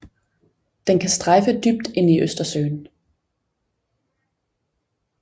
Den kan strejfe dybt ind i Østersøen